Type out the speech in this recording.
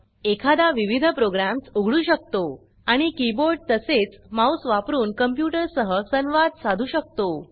एखादा विविध प्रोग्रॅम्स् उघडू शकतो आणि कीबोर्ड तसेच माउस वापरून कंप्यूटर सह संवाद साधू शकतो